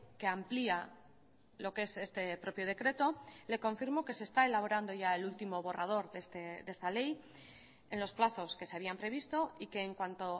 que amplía lo que es este propio decreto le confirmo que se está elaborando ya el último borrador de esta ley en los plazosque se habían previsto y que en cuanto